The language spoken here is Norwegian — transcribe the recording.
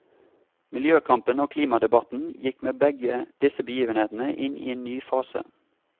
Miljøkampen og klimadebatten gikk med begge disse begivenhetene inn i en ny fase.